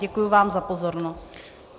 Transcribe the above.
Děkuju vám za pozornost.